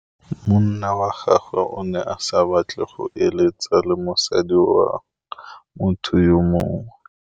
Monna wa gagwe o ne a batla go êlêtsa le mosadi wa motho yo mongwe.